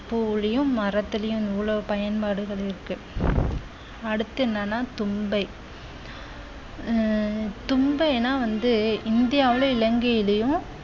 பூவுலியும் மரத்துலயும் இவ்வளவு பயன்பாடுகள் இருக்கு அடுத்து என்னன்னா தும்பை உம் தும்பைன்னா வந்து இந்தியாவில இலங்கையிலயும்